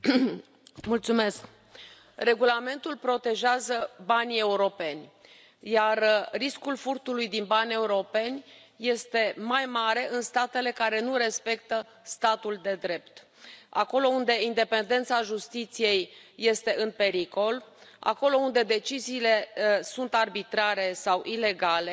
Doamnă președintă, regulamentul protejează banii europeni, iar riscul furtului din bani europeni este mai mare în statele care nu respectă statul de drept, acolo unde independența justiției este în pericol, acolo unde deciziile sunt arbitrare sau ilegale